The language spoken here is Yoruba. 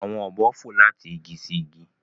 Awọn obo fo lati igi si igi.